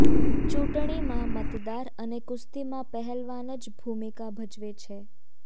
ચૂંટણીમાં મતદાર અને કુસ્તીમાં પહેલવાન જ ભૂમિકા ભજવે છે